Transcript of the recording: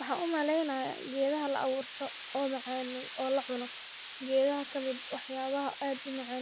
Waxan u maleynayaa gedahaa Laaburto, o macan o lacuuno, gedahaa kamiid ah wax yabahaa